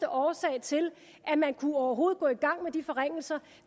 årsag til at man overhovedet kunne gå i gang med de forringelser